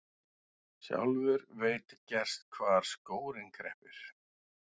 Sjálfur veit gerst hvar skórinn kreppir.